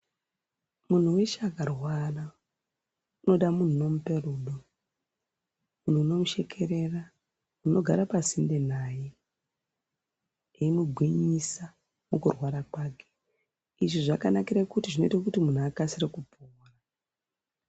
Munhu weshe akarwara anoda munhu anomupe rudo, munhu unomushekerera, munhu unogara pansinde naye, emugwinyisa mukurwara kwake. Izvi zvakanakire kuti zvinoite kuti munhu akasire kupona.